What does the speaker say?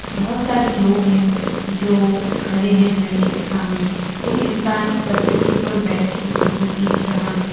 बहोत सारे लोग है जो खड़े है झरने के सामने कोई इन्सान पत्थर के ऊपर बैठ के फोटो खींचा रहा है।